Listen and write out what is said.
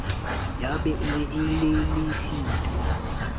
ya be e re elellisitswe